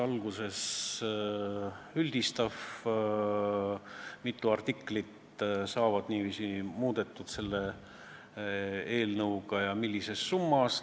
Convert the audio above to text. Alguses üldistav: mitu artiklit saavad niiviisi muudetud selle eelnõuga ja millises summas?